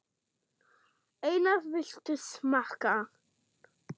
Einar, viltu smakka?